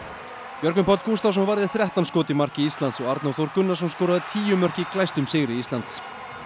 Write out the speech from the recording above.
Björgvin Páll Gústavsson varði þrettán skot í marki Íslands og Arnór Þór Gunnarsson skoraði tíu mörk í glæstum sigri Íslands